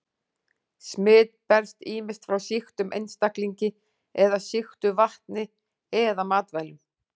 Smit berst ýmist frá sýktum einstaklingi eða sýktu vatni eða matvælum.